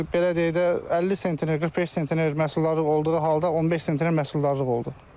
Belə deyək də 50 sentner, 45 sentner məhsuldarlıq olduğu halda 15 sentner məhsuldarlıq oldu.